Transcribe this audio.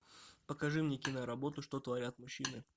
покажи мне киноработу что творят мужчины